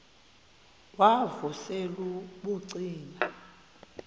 wav usel ubucima